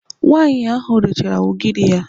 Nwaanyị ahụ rechara ugiri ya.